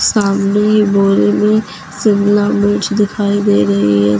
सामने ही बोरे में शिमला मिर्च दिखाई दे रही है।